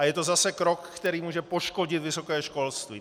A je to zase krok, který může poškodit vysoké školství.